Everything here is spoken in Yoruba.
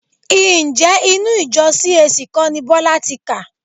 Ǹjẹ́ inú ìjọ CAC kọ́ ni Bọ́lá ti kà?